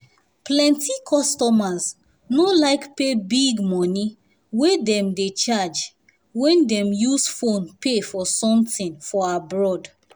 plenty customers no like pay big money wey dem dey charge when dem use phone pay for something for abroad.